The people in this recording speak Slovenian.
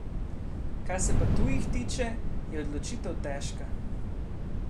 Kar se pa tujih tiče, je odločitev težka...